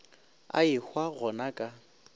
a ehwa go na ka